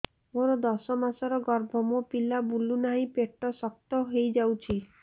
ମୋର ଦଶ ମାସର ଗର୍ଭ ମୋ ପିଲା ବୁଲୁ ନାହିଁ ପେଟ ଶକ୍ତ ହେଇଯାଉଛି